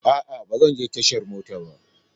A'a, ba zan je tashan mota ba.